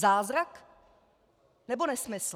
Zázrak, nebo nesmysl?